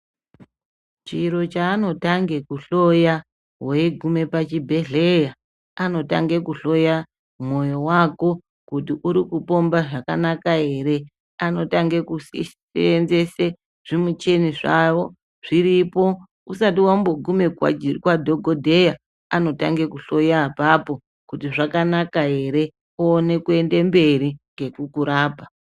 Chiro chanotange kuhloya veigume pachibhedhleya anotange kuhloya moyo vako kuti uri kupomba zvakanaka ere. Anotange kusenzese zvimichini zvavo zviripo usati vambogume kwadhogodheya. Anotanga kuhloya apapo kuti zvakanaka ere oone kuenda mberi nekukurapa.